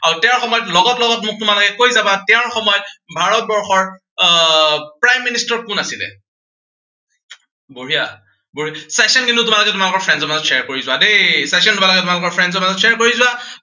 আৰু তেওঁৰ সময়ত, লগত লগত মোক মানে কৈ যাবা, তেওঁৰ সময়ত ভাৰতবৰ্ষৰ আহ Prime Minister কোন আছিলে। বঢ়িয়া, session কিন্তু তোমালোকে তোমালোকৰ friends ৰ মাজত share কৰি যোৱা দেই। session তোমালোকে তোমালোকৰ friends ৰ মাজত share কৰি যোৱা